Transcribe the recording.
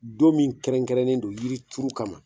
Don min kɛrɛnkɛrɛnnen do yiri turu kama.